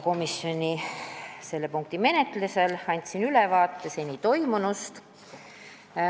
Selle punkti menetluse juures andsin ka komisjonis ülevaate seni toimunust.